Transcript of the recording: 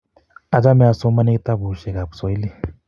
Achome asomii kitabushe ab Kiswahili.